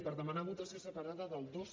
per demanar votació separada del dos